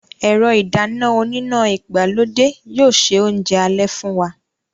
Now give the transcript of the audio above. Ẹ̀rọ ìdáná oníná ìgbàlódé yóò se oúnjẹ alẹ́ fún wa